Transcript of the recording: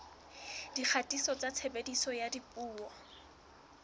dikgatiso tsa tshebediso ya dipuo